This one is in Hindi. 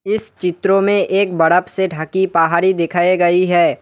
इस चित्रों में एक बर्फ से ढकी पहाड़ी दिखाई गई है।